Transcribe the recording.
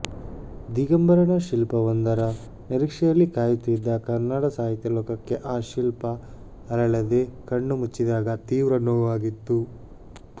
ದಿಗಂಬರನ ಶಿಲ್ಪವೊಂದರ ನಿರೀಕ್ಷೆಯಲ್ಲಿ ಕಾಯುತ್ತಿದ್ದ ಕನ್ನಡ ಸಾಹಿತ್ಯಲೋಕಕ್ಕೆ ಆ ಶಿಲ್ಪಅರಳದೆ ಕಣ್ಣುಮುಚ್ಚಿದಾಗ ತೀವ್ರ ನೋವಾಗಿತ್ತು